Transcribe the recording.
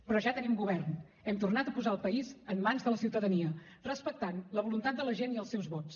però ja tenim govern hem tornat a posar el país en mans de la ciutadania respectant la voluntat de la gent i els seus vots